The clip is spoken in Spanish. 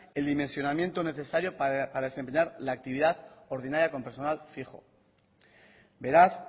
el dimensionamiento necesario para examinar la actividad ordinaria con personal fijo beraz